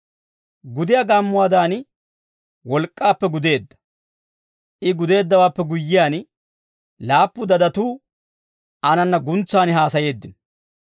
Gudiyaa gaammuwaadan, wolk'k'aappe gudeedda. I gudeeddawaappe guyyiyaan, laappu guuguntsatuu aananna guntsan haasayeeddino.